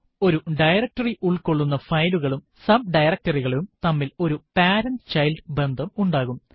ഒരു ഡയറക്ടറി ഉൾകൊള്ളുന്ന ഫയലുകളും subdirectory കളും തമ്മില് ഒരു പേരന്റ് - ചൈൽഡ് ബന്ധം ഉണ്ടാവും